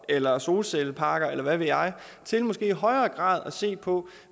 eller solcelleparker eller hvad ved jeg til måske i højere grad at se på